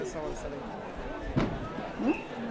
Qual que é o nome da igreja? um?